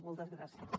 moltes gràcies